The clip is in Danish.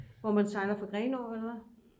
hvor man sejler fra Grenaa eller hvad